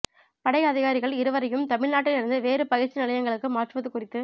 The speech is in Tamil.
படை அதிகாரிகள் இருவரையும் தமிழ்நாட்டில் இருந்து வேறு பயிற்சி நிலையங்களுக்கு மாற்றுவது குறித்து